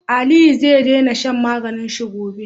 Aliyu ze dena shan maganin shi gobe